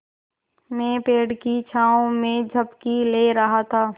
मैं पेड़ की छाँव में झपकी ले रहा था